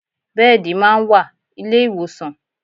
Bẹ́ẹ̀dì máa ń wà ilé ìwòsàn